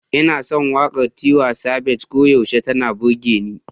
Ina son waƙar Tiwa Savage, koyaushe tana burge ni.